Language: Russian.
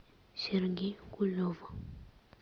сергей кулев